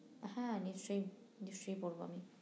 হ্যাঁ নিশ্চই নিশ্চই পড়বো আমি